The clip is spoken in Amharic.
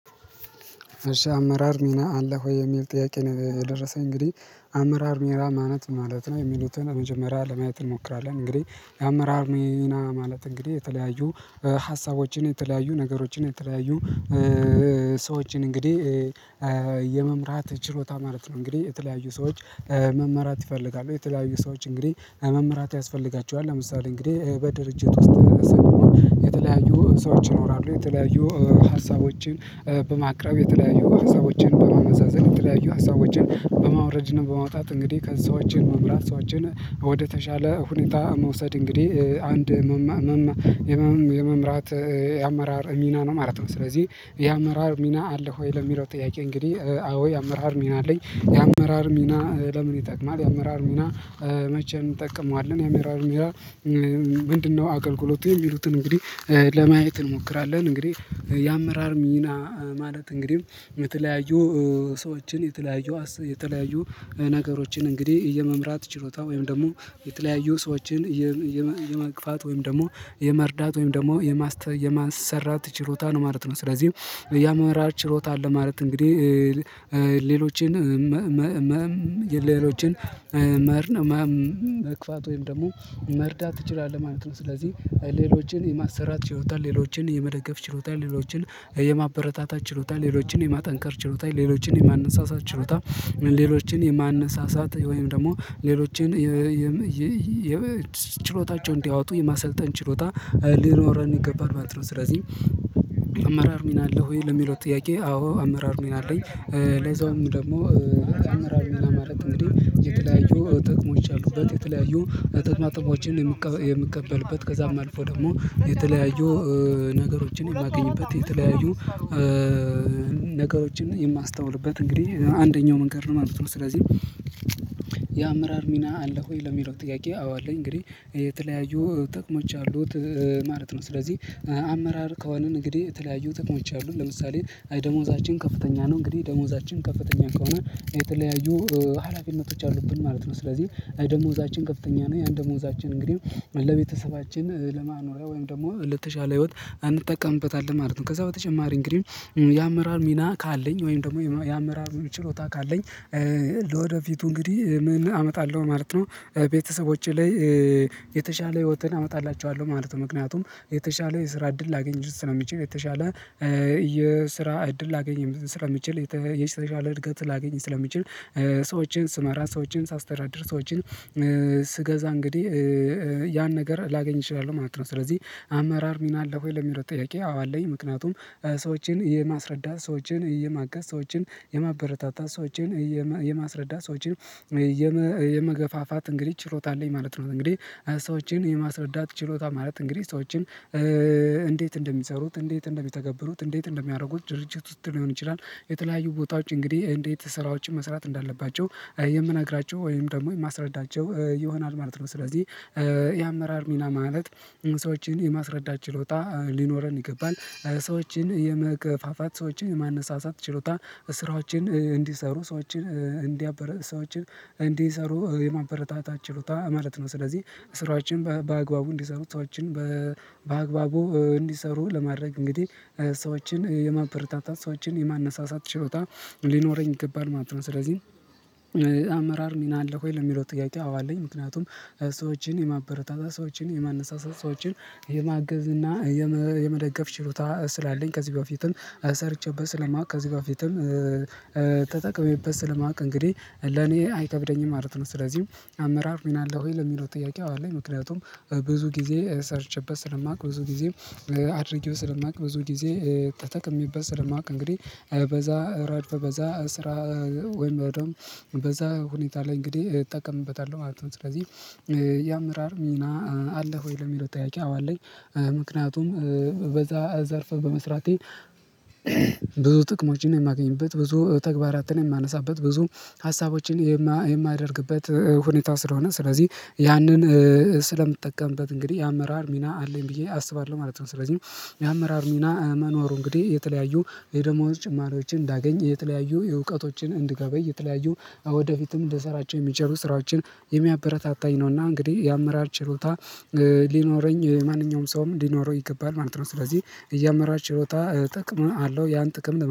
እሺ አመራር ሚና አለ ሆይ የሚል ጥያቄ ነው የደረሰኝ እንግዲህ አመራር ሚና ማለት ምን ማለት ነው? የሚሉትን በመጀመሪያ ለማየት እንሞክራለን እንግዲህ የአመራር ሚና ማለት እንግዲህ የተለያዩ ሀሳቦችን የተለያዩ ነገሮችን የተለያዩ ሰዎችን እንግዲህ የመምራት ችሎታ ማለት ነው። እንግዲህ የተለያዩ ሰዎች መመራት ይፈልጋሉ የተለያዩ ሰዎች እንግዲህ መመራት ያስፈልጋቸዋል ለምሳሌ እንግዲህ በድርጅት ውስጥ ሰምተው የተለያዩ ሰዎች ይኖራሉ የተለያዩ ሀሳቦችን በማቅረብ የተለያዩ ሀሳቦችን በማመሳሰል የተለያዩ ሀሳቦችን በማውረድና በማውጣት እንግዲህ ከሰዎችን መምራት ሰዎችን ወደተሻለ ሁኔታ መውሰድ እንግዲህ አንድ መማ መመ የመምራት የአመራር ሚና ነው ማለት ነው። ስለዚህ የአመራር ሚና አለ ሆይ ለሚለው ጥያቄ እንግዲህ አዎ የአመራር ሚና አለኝ የአመራር ሚና ለምን ይጠቅማል? የአመራር ሚና መቼ እንጠቀመዋለን? የአመራር ሚና ምንድነው አገልግሎቱ? የሚሉትን እንግዲህ ለማየት እንሞክራለን እንግዲህ የአመራር ሚና ማለት እንግዲህ የተለያዩ ሰዎችን የተለያዩ የተለያዩ ነገሮችን እንግዲህ የመምራት ችሎታ ወይም ደግሞ የተለያዩ ሰዎችን የም የም የመግፋት ወይም ደግሞ የመርዳት ወይም ደግሞ የማስተ የማሰራት ችሎታ ነው ማለት ነው። ስለዚህ የአመራር ችሎታ አለ ማለት እንግዲህ ሌሎችን መመም ሌሎችን መርን መግፋት ወይም ደግሞ መርዳት ትችላለህ ማለት ነው ስለዚህ ሌሎችን የማሰራት ችሎታ ሌሎችን የመደገፍ ችሎታ ሌሎችን የማበረታታት ችሎታ ሌሎችን የማጠንከር ችሎታ ሌሎችን የማነሳሳት ችሎታ ሌሎችን የማነሳሳት ወይም ደግሞ ሌሎችን የም የ ችሎታቸውን እንዲያወጡ የማሰልጠን ችሎታ ሊኖረን ይገባል ማለት ነው። ስለዚህ አማራር ሚና አለ ወይ? ለሚለው ጥያቄ አዎ አመራር ሚና አለኝ። ለዛውም ደግሞ አመራር ሚና ማለት እንግዲህ የተለያዩ ጥቅሞች አሉበት የተለያዩ ጥቅማ ጥቅሞችን የምቀበልበት ከዛም አልፎ ደግሞ የተለያዩ ነገሮችን የማገኝበት የተለያዩ ነገሮችን የማስተውልበት እንግዲህ አንደኛው መንገድ ነው። ማለት ነው ስለዚህ የአመራር ሚና አለህ ወይ? ለሚለው ጥያቄ አው አለኝ እንግዲህ የተለያዩ ጥቅሞች አሉት ማለት ነው። ስለዚህ አመራር ከሆንን እንግዲህ የተለያዩ ጥቅሞች አሉ ለምሳሌ አይ ደሞዛችን ከፍተኛ ነው። እንግዲህ ደሞዛችን ከፍተኛ ከሆነ የተለያዩ ሀላፊነቶች አሉብን ማለት ነው። ስለዚህ ደሞዛችን ከፍተኛ ነው ያን ደሞዛችን እንግዲህ ለቤተሰባችን ለማኖሪያ ወይም ደግሞ ለተሻለ ህይወት አንጠቀምበታለን ማለት ነው። ከዛ በተጨማሪ እንግዲህ የአመራር ሚና ካለኝ ወይም ደግሞ የአመራር ችሎታ ካለኝ ለወደፊቱ እንግዲህ ምን? አመጣለሁ ማለት ነው ቤተሰቦቼ ላይ የተሻለ ህይወትን አመጣላችኋለሁ ማለት ነው። ምክንያቱም የተሻለ የስራ እድል ላገኝ ስለምችል የተሻለ የስራ እድል ላገኝ ስለምችል የተሻለ እድገት ላገኝ ስለምችል ሰዎችን ስመራ ሰዎችን ሳስተዳድር ሰዎችን ስገዛ እንግዲህ ያን ነገር ላገኝ እችላለሁ ማለት ነው። ስለዚህ አመራር ሚና አለ ወይ? ለሚለው ጥያቄ አዎ አለኝ ምክንያቱም ሰዎችን የማስረዳት ሰዎችን የማገዝ ሰዎችን የማበረታታት ሰዎችን የማስረዳት ሰዎችን የመ የመገፋፋት እንግዲህ ችሎታ አለኝ ማለት ነው። እንግዲህ ሰዎችን የማስረዳት ችሎታ ማለት እንግዲህ ሰዎችን እንዴት እንደሚሰሩት እንዴት እንደሚተገብሩት እንዴት እንደሚያደርጉት ድርጅት ውስጥ ሊሆን ይችላል የተለያዩ ቦታዎች እንግዲህ እንዴት ስራዎችን መስራት እንዳለባቸው የምነግራቸው ወይም ደግሞ የማስረዳቸው ይሆናል ማለት ነው። ስለዚህ የአመራር ሚና ማለት ሰዎችን የማስረዳት ችሎታ ሊኖረን ይገባል። ሰዎችን የመገፋፋት ሰዎችን የማነሳሳት ችሎታ ስራዎችን እንዲሰሩ ሰዎችን እንዲያበረ ሰዎችን እንዲሰሩ የማበረታታት ችሎታ ማለት ነው ስለዚህ ስራዎችን በአግባቡ እንዲሰሩ ሰዎችን በአግባቡ እንዲሰሩ ለማድረግ እንግዲህ ሰዎችን የማበረታታት ሰዎችን የማነሳሳት ሽሎታ ሊኖረኝ ይገባል ማለት ነው። ስለዚህ አመራር ሚና አለ ወይ? ለሚለው ጥያቄ አዎ አለኝ ምክንያቱም ሰዎችን የማበረታታ ሰዎችን የማነሳሳት ሰዎችን የማገዝ እና የመደገፍ ችሎታ ስላለኝ ከዚህ በፊትም ሰርቼበት ስለማውቅ ከዚህ በፊትም ተጠቅሜበት ስለማቅ እንግዲህ ለኔ አይከብደኝም ማለት ነው። ስለዚህ አመራር ሚና አለ ወይ? ለሚለው ጥያቄ አው አለኝ ምክንያቱም ብዙ ጊዜ ሰርቼበት ስለማውቅ ብዙ ጊዜ አድርጌው ስለማውቅ ብዙ ጊዜ ተጠቅሜበት ስለማውቅ እንግዲህ በዛ ረድፍ በዛ ስራ ወይም በደንብ በዛ ሁኔታ ላይ እንግዲህ እጠቀምበታለሁ ማለት ነው። ስለዚህ የአመራር ሚና አለ ወይ? የሚለው ጥያቄ አው አለኝ ምክንያቱም በዛ ዘርፈ በመስራቴ ብዙ ጥቅሞችን የማገኝበት ብዙ ተግባራትን የማነሳበት ብዙ ሀሳቦችን የማደርግበት ሁኔታ ስለሆነ ስለዚህ ያንን ስለምትጠቀምበት እንግዲህ የአመራር ሚና አለኝ ብዬ አስባለሁ ማለት ነው። ስለዚህ የአመራር ሚና መኖሩ እንግዲህ የተለያዩ የደሞዝ ጭማሪዎችን እንዳገኝ የተለያዩ የእውቀቶችን እንድገበይ የተለያዩ ወደፊትም ልሰራቸው የሚችሉ ስራዎችን የሚያበረታታኝ ነውና እንግዲህ የአመራር ችሎታ ሊኖረኝ ማንኛውም ሰውም ሊኖረው ይገባል ማለት ነው። ስለዚህ የአመራርጰችሎታ ጥቅም አለው ያን ጥቅም